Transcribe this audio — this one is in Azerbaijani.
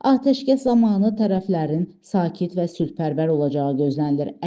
Atəşkəs zamanı tərəflərin sakit və sülhpərvər olacağı gözlənilir.